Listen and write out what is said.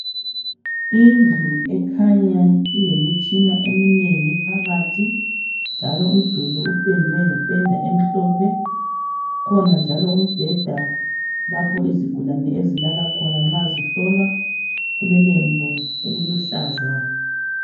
Indlu ekhanya ilemitshina eminengi phakathi, njalo umduli upendwe ngependa emhlophe. kukhona njalo umbheda lapho izigulane ezilala khona nxa zihlolwa. Kulelembu eliluhlaza.